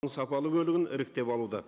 сапалы бөлігін іріктеп алуда